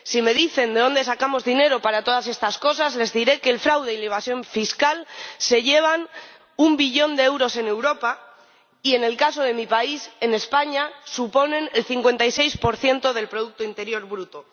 Si me dicen de dónde sacamos dinero para todas estas cosas, les diré que el fraude y la evasión fiscal se llevan un billón de euros en Europa y en el caso de mi país, en España, suponen el 56 del producto interior bruto.